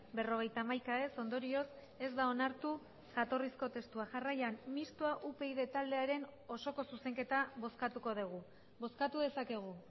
berrogeita hamaika ez ondorioz ez da onartu jatorrizko testua jarraian mistoa upyd taldearen osoko zuzenketa bozkatuko dugu bozkatu dezakegu